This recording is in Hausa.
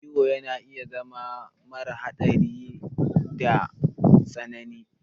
Ciwo na iya zama mara hadari da me tsanani.